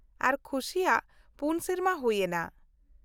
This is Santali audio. -ᱟᱨ ᱠᱷᱩᱥᱤᱭᱟᱜ ᱯᱩᱱ ᱥᱮᱨᱢᱟ ᱦᱩᱭ ᱮᱱᱟ ᱾